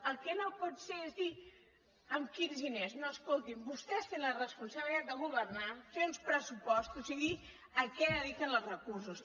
el que no pot ser és dir amb quins diners no escolti’m vostès tenen la responsabilitat de governar fer uns pressupostos i dir a què dediquen els recursos